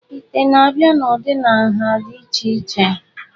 Ite na-abịa n'ụdị na nha dị iche iche.